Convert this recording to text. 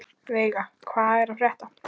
Veiga, hvað er að frétta?